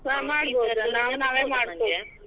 .